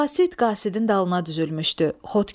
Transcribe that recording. Qasid qasidin dalına düzülmüşdü.